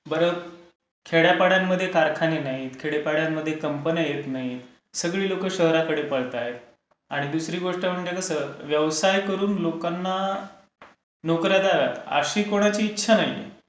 बरं, खेड्या पाड्यांमध्ये कारखाने नाहीत. खेड्या पाड्यांमध्ये कंपन्या येत नाहीत. सगळी लोकं शहराकडे पळतायत आणि दुसरी गोष्ट म्हणजे कसं व्यवसाय करून लोकांना नोकर् या द्याव्यात अशी कोणाची इच्छा नाही.